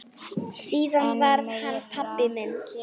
Síðar varð hann pabbi minn.